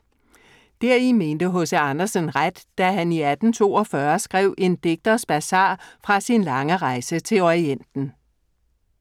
Deri mente H.C. Andersen ret, da han i 1842 skrev En digters bazar fra sin lange rejse til Orienten.